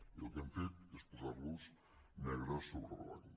i el que hem fet és posar los negre sobre blanc